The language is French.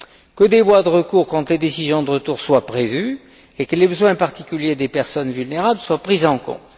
que des voies de recours contre les décisions de retour soient prévues et que les besoins particuliers des personnes vulnérables soient pris en compte.